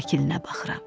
Şəklinə baxıram.